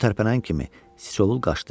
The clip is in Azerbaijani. O tərpənən kimi sıçovul qaçdı.